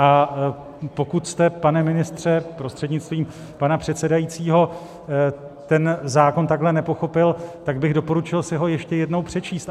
A pokud jste, pane ministře prostřednictvím pana předsedajícího, ten zákon takhle nepochopil, tak bych doporučil si ho ještě jednou přečíst.